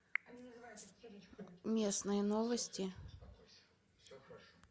местные новости